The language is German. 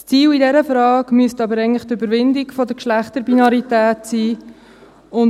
Das Ziel in dieser Frage müsste aber eigentlich die Überwindung der Geschlechterbinarität sein.